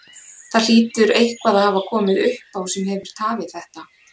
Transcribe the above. Það hlýtur eitthvað að hafa komið upp á sem hefur tafið þetta?